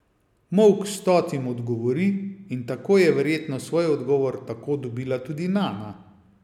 Molk stotim odgovori, in tako je verjetno svoj odgovor tako dobila tudi Nana.